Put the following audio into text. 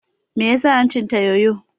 Me ya sa hancin ta yoyo?